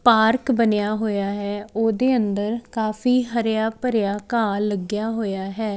Park ਬਣਿਆ ਹੋਇਆ ਹੈ ਉਹਦੇ ਅੰਦਰ ਕਾਫੀ ਹਰਿਆ ਭਰਿਆ ਘਾਹ ਲੱਗਿਆ ਹੋਇਆ ਹੈ।